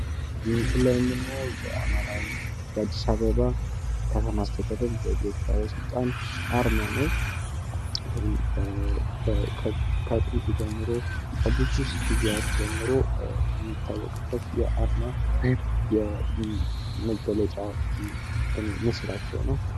እዚህ ምስል ላይ የምናዬው የአዲስ አበባ ከተማ አስተዳደር ገቢዎች ባለስልጣን አርማ ነው። ከጥንት ጀምሮ ከብዙ ጊዚያት ጀምሮ የሚታወቅበት የአርማ የሚገለጥበት ምስላቸው ነው።